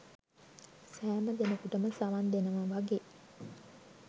සෑම දෙනෙකුටම සවන් දෙනවා වගේ